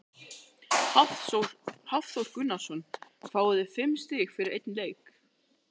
Hafþór Gunnarsson: Fáið þið fimm stig fyrir einn leik?